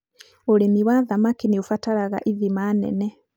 ũrĩmi wa thamaki nĩ ũbataraga ithima nene.